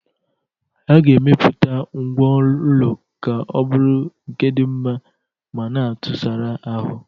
A ga-emepụta ngwá ụlọ ka ọ bụrụ nke di nma ma na atụsara ahụ.